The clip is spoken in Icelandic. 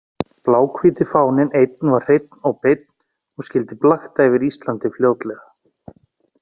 Bláhvíti fáninn einn var hreinn og beinn og skyldi blakta yfir Íslandi fljótlega.